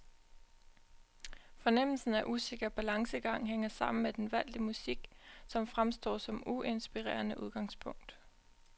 Fornemmelsen af usikker balancegang hænger sammen med den valgte musik, som fremstår som uinspirerende udgangspunkt.